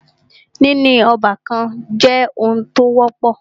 Níní ọ́bàkan jẹ́ oun tí o wọ́pọ̀.